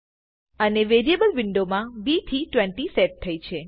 અને variable window માં B થી 20 સેટ થઇ છે